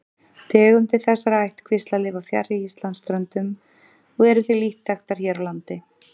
Tegundir þessara ættkvísla lifa fjarri Íslandsströndum og eru því lítt þekktar hér á landi.